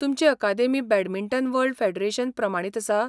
तुमची academy badminton world federation प्रमाणीत आसा?